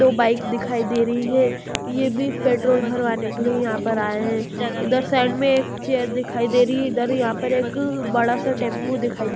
दो बाइक दिखाई दे रही है ये भी पेट्रोल भरवाने के लिए यहां पर आए हैं इधर साइड में एक चैर दिखाई दे रही है इधर यहां पर एक बड़ा सा टैंपू दिखाई दे--